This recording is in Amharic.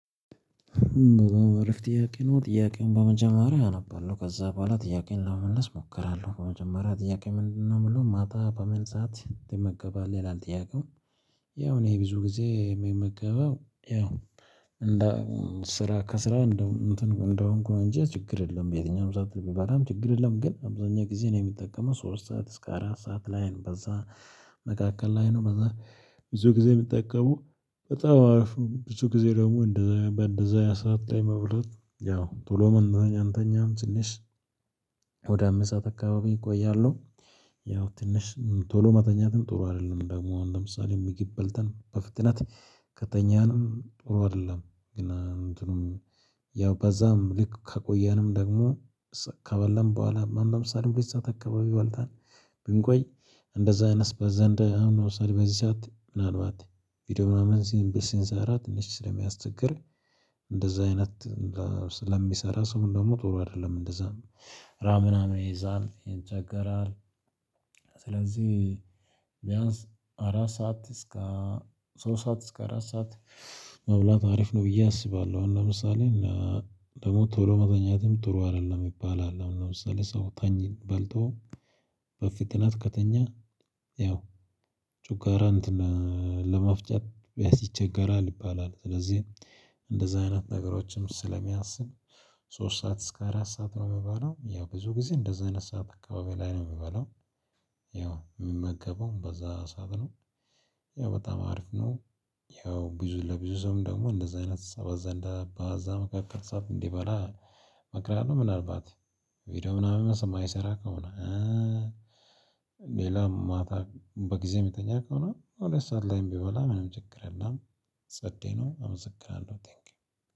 ዎው አሪፍ ጥያቄ ነው ጥያቄውን በመጀመሪያ አነባለሁ ከዛ በኋላ ጥያቄን ለመመለስ እሞክራለሁ በመጀመሪያ ጥያቄ ምንድነው የምለው ማታ በመንጻት ትመገባለህ ይላል ጥያቄው ያው እኔ ብዙ ጊዜ የምመገበው ያው ስራ ከስራ እንደው እንትን እንደሆንኩ እንጂ ችግር የለም የትኛውም ሰዓት ብባልም ችግር የለም ግን አብዛኛው ጊዜ ነው የምጠቀመው ሶስት ሰዓት እስከ አራት ሰዓት ላይ ነው በዛ መካከል ላይ ነው በዛ ብዙ ጊዜ የምጠቀመው በጣም አሪፍ ነው ብዙ ጊዜ ደግሞ እንደዛ በእንደዛ ሰዓት ላይ መብላት ያው ቶሎ መብረጥ አንተኛም ትንሽ ወደ አምስት ሰዓት አካባቢ እቆያለሁ ያው ትንሽ ቶሎ መተኛትም ጥሩ አይደለም ደግሞ አሁን ለምሳሌ ምግብ በልተን በፍጥነት ከተኛንም ጥሩ አይደለም ግን እንትኑም ያው በዛም ልክ ከቆየንም ደግሞ ከበለን በኋላ ማን ለምሳሌ በዚ ሰዓት አካባቢ ይበልጣል ብንቆይ እንደዛ አይነት በዘንድ አሁን ለምሳሌ በዚህ ሰዓት ምናልባት ቪዲዮ ምናምን ሲንቢ ሰንስራ ትንሽ ስለሚያስቸግር እንደዛ አይነት ስለሚሰራ ሰው ደግሞ ጥሩ አይደለም እንደዛ ራምና ይይዛል ይቸገራል ስለዚህ ቢያንስ አራት ሰዓት እስከ ሶስት ሰዓት እስከ አራት ሰዓት መብላት አሪፍ ነው ብዬ አስባለሁ አሁን ለምሳሌ እና ደግሞ ቶሎ መተኛትም ጥሩ አይደለም የሚባል አለ ለምሳሌ ሰው ተኝ በልቶ በፍጥነት ከተኛ ያው ጨጓራ እንትን ለመፍጨት ቢያስ ይቸገራል ይባላል ስለዚህ እንደዚህ አይነት ነገሮችም ስለማስብ ሶስት ሰዓት እስከ አራት ሰዓት ነው የምበለው ያው ብዙ ጊዜ እንደዚህ አይነት ሰዓት አካባቢ ላይ ነው የምበለው ያው የምመገበውም በዛ ሰዓት ነው ያው በጣም አሪፍ ነው ያው ብዙ ለብዙ ሰውም ደግሞ እንደዚህ አይነት ሰዓት ዘንዳ በዚያ መካከል ሰብ እንዲበላ መቅረብ ነው ምናልባት ቪዲዮ ምናምን የማይሰራ ከሆነ ሌላ ማታ በጊዜ የሚተኛ ከሆነ ሁለት ሰዓት ላይም ቢበላ ምንም ችግር የለም። ጸዴ ነው። እመሰግናለሁ። ታንክ ዩ